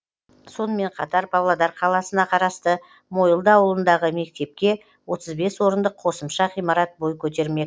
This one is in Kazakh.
сонымен қатар павлодар қаласына қарасты мойылды ауылындағы мектепке отыз бес орындық қосымша ғимарат бой көтермек